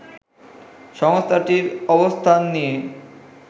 সংস্থাটির অবস্থান নিয়ে